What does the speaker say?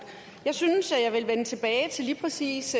jeg synes jeg vil vende tilbage til lige præcis